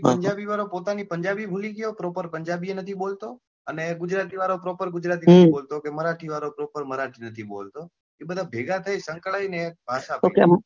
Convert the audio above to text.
આ પંજાબી વાળો એની પોતાની પંજાબી ભૂલી ગયો પંજાબી એ નથી બોલતો કે ગુજરાતી વાળો proper ગુજરાતી નથી બોલતો કે મરાઠી વાળો proper મરાઠી નથી બોલતો એ બધા ભેગા થઇ સંકળાઈ ને એક ભાષા બનાવી